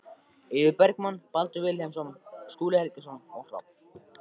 Eiður Bergmann, Baldur Vilhelmsson, Skúli Helgason og Hrafn